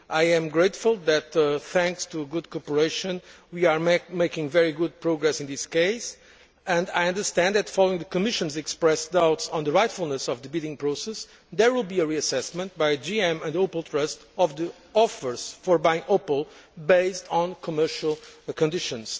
I am grateful that, thanks to good cooperation, we are making very good progress in this case. I understand that, following the doubts the Commission expressed on the rightfulness of the bidding process, there will be a reassessment by GM and Opel Trust of the offers to buy Opel, based on commercial conditions.